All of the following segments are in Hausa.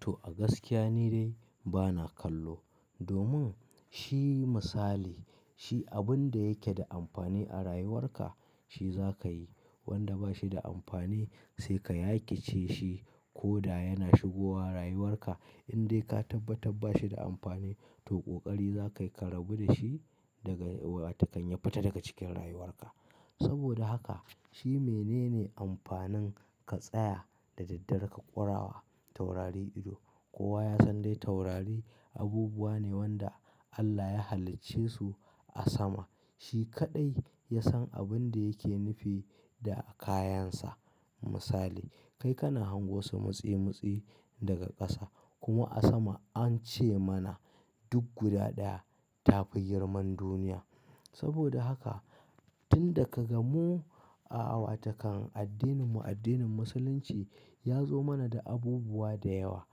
To a gaskiya ni dai bana kallo domin shi misali shi abin da yake da amfani a rayuwarka shi za ka yi. Wanda ba shi da amfani sai ka yakice shi ko da yana shigowa rayuwarka. In dai ka tabbattar ba shi da amfani to ƙoƙari za ka yi ka rabu da shi daga wa takan ya fita daga cikin rayuwarka. Saboda haka shi menene amfanin ka tsaya da daddare ka ƙurawa taurari ido? Kowa ya san dai taurari abubuwa ne wanda Allah ya halicce su a sama. Shi kaɗai ya san abin da yake nufi da kayansa. Misali, kai kana hango su mutsi mutsi daga ƙasa kuma a sama an ce mana duk guda ɗaya ta fi girman duniya. Saboda haka tun da ka gamu a wa takan addininmu addinin Musulunci ya zo mana da abubuwa da yawa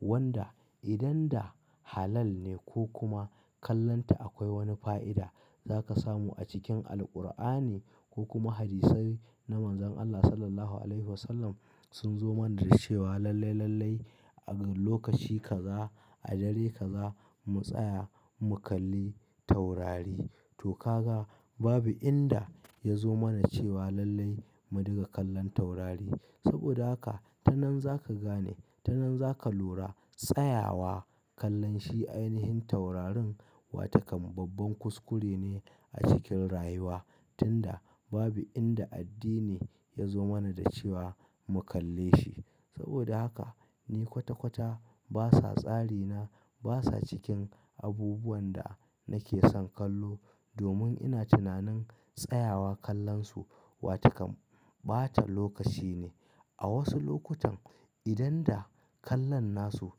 wanda idan da halal ne ko kuma kallonta akwai wani fa'ida. Za ka samu a cikin Alqur'ani ko kuma hadisai na Manzon Allah Sallallahu Alaihi Wasallam sun zo mana da cewa lalle lalle a lokaci kaza a dare kaza mu tsaya mu kalli taurari. To ka ga babu inda ya zo mana cewa lalle mu dinga kallon taurari. Saboda haka ta nan za ka gane ta nan za ka lura tsayawa kallon shi ainihin taurarin wa takan babban kuskure ne a cikin rayuwa. Tun da babu inda addini ya zo mana da cewa mu kalle shi. Saboda haka ni kwata kwata basa tsari na basa cikin abubuwan da nake son kallo domin ina tunanin tsayawa kallon su wa takan ɓata lokaci ne. A wasu lokutan idan da kallon nasu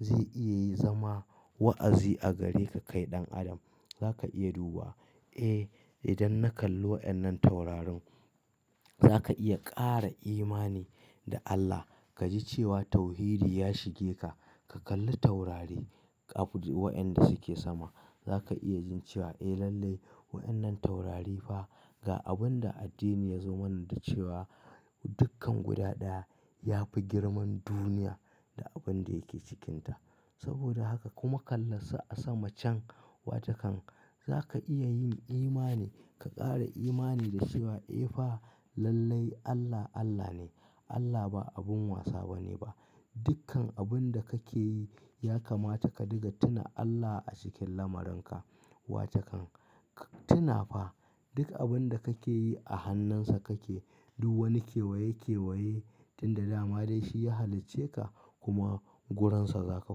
zai iya zama wa'azi a gare ka kai ɗan adam. Za ka iya duba, eh idan na kalli wa'yennan taurarin za ka iya ƙara imani da Allah. Ka ji cewa tauhidi ya shige ka. Ka kalli taurari wa'yanda suke sama. Za ka iya jin cewa eh lallai wa'yannan taurari fa ga abin da addini ya zo mana da cewa dukkan guda ɗaya ya fi girman duniya da abin da yake cikinta. Saboda haka kuma kallon su a sama can wa takan za ka iya yin imani ka ƙara imani da cewa eh fa lalle Allah Allah ne. Allah ba abin wasa bane ba. Dukkan abin da kake yi ya kamata ka diga tuna Allah a cikin lamaran ka wa takan. Ka tuna fa duk abin da kake yi a hannunsa kake. Duk wani kewaye kewaye tun da dama dai shi ya halicce ka kuma gurinsa za ka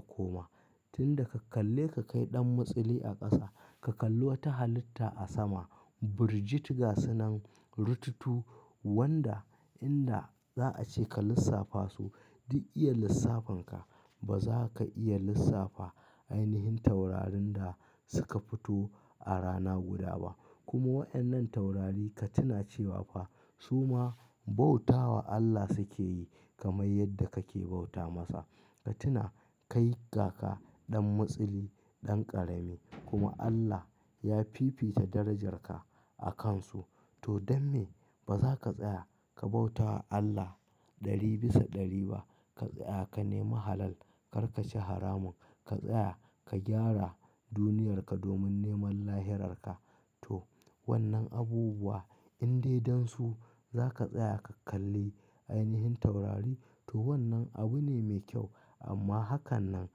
koma. Tun da ka kalle ka kai ɗan mutsili a ƙasa, ka kalli wata halitta a sama, burjit gasunan rututu wanda inda za a ce ka lissafa su duk iya lissafin ka ba za ka iya lissafa ainihin taurarin da suka fito a rana guda ba. Kuma wa'annan taurari ka tuna cewa fa su ma bauta wa Allah suke yi kamar yadda kake bauta masa. Ka tuna ka yi gaga ɗan mutsili ɗan ƙarami kuma Allah ya fifita darajar ka a kan su. To damme ba za ka tsaya ka bauta wa Allah ɗari bisa ɗari ba. Ka tsaya ka nemu halal kar ka ci haramun. Ka tsaya ka gyara duniyarka domin neman lahirarka. To wannan abubuwa in dai don su za ka tsaya ka kalli ainihin taurari to wannan abu ne mai kyau amma hakan nan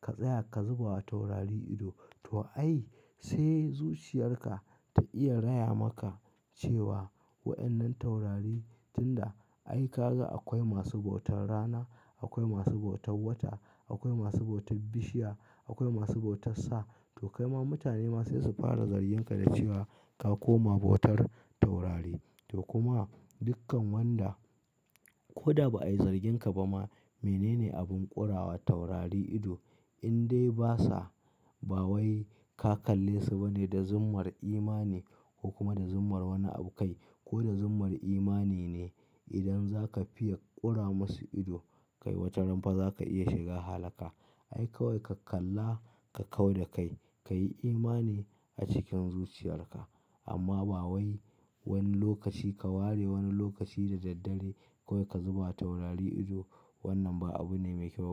ka tsaya ka zuba wa taurari ido to ai sai zuciyarka ta iya raya maka cewa wa'ysnnan taurari tun da ai ka ga akwai masu bautar rana, akwai masu bautar wata, akwai masu bautar bishiya, akwai masu bautar sa to kai ma mutane masu su fara zarginka da cewa ka koma bautar taurari. To kuma dukkan wanda ko da ba a yi zargin ka ba ma menene abin ƙurawa taurari ido? In dai basa ba wai ka kalle su bane da zummar imani ko kuma da zummar wani abu kai ko da zummar imani ne idan za ka fiya ƙura musu ido kai wata ranfa za ka iya shiga halaka. Ai kawai ka kalla ka kau da kai. Ka yi imani a cikin zuciyarka amma ba wai wani lokaci ka ware wani lokaci da daddare kawai ka zuba taurari ido wannan ba abu ne mai kyau ba.